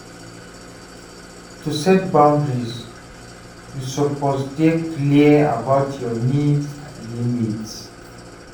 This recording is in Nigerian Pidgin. To set boundaries, yu suppose dey clear about yur nids and limits.